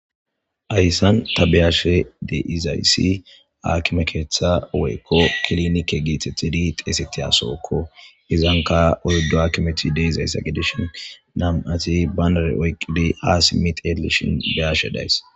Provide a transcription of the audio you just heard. ayssan ta beyashe deizayssi aakime keeththa woykko klinike giithetidi xeesetti asokko izanka oydo akimeti de izaysa gedishin nam7ati banare oyqqidi aas mit edlishin beyashe days